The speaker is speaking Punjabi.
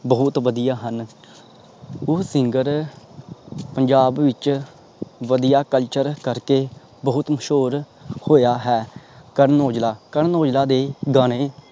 ਬਹੁਤ ਵਧਿਆ ਹਨ ਉਹ SINGER ਪੰਜਾਬ ਵਿਚ ਵਧਿਆ ਕਲਚਰ ਕਰਕੇ ਬਹੁਤ ਮਸ਼ਹੂਰ ਹੋਇਆ ਹੈ ਕਰਨ ਔਜਲਾ ਕਰਨ ਔਜਲਾ ਦੇ ਗਾਣੇ।